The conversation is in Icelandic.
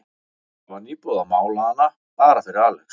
Það var nýbúið að mála hana, bara fyrir Alex.